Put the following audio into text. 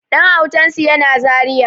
Ɗan autansu yana zaria